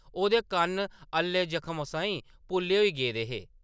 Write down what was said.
ओह्‌‌‌दे कन्न अल्ले जख्मै साहीं पुल्ले होई गेदे हे ।